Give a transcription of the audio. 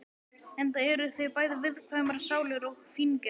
Enda eru þau bæði viðkvæmar sálir og fíngerðar.